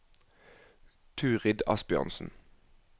Turid Asbjørnsen